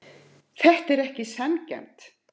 Þetta er ekki sanngjarnt.